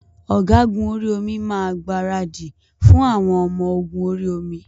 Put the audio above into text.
Ògágùn orí omi máa gbaradì fún àwọn ọmọ-ogun orí-omi.